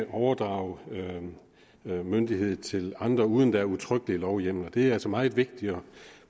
overdrage myndighed til andre uden er udtrykkelig lovhjemmel det var altså meget vigtigt at